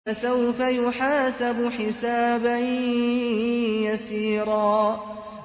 فَسَوْفَ يُحَاسَبُ حِسَابًا يَسِيرًا